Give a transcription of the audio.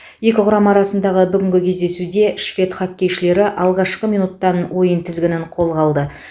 екі құрама арасындағы бүгінгі кездесуде швед хоккейшілері алғашқы минуттан ойын тізгінін қолға алды